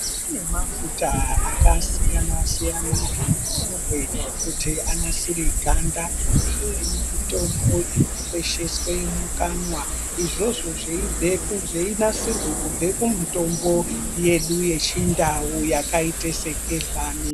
Kune mafuta akasiyana siyana anozorwe kuti anasire ganda neimweni mitombo inokwesheswe mukanwa izvozvo zveinasirwe kubva kumitombo yedu yechindau yakaite segehlani.